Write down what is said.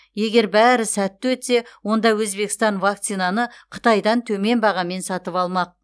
егер бәрі сәтті өтсе онда өзбекстан вакцинаны қытайдан төмен бағамен сатып алмақ